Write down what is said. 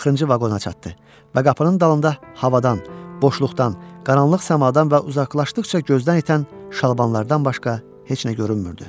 Axırıncı vaqona çatdı və qapının dalında havadan, boşluqdan, qaranlıq səmadan və uzaqlaşdıqca gözdən itən şalvarlardan başqa heç nə görünmürdü.